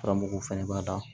Karamɔgɔw fɛnɛ b'a da